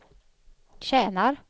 tjänar